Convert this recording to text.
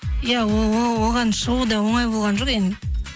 иә оған шығу да оңай болған жоқ енді